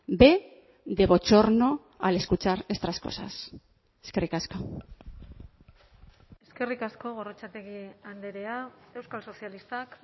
b de bochorno al escuchar estas cosas eskerrik asko eskerrik asko gorrotxategi andrea euskal sozialistak